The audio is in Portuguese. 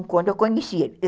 quando eu conheci ele.